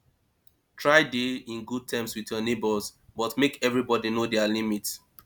try de in good term with your neighbour but make everybody know their limit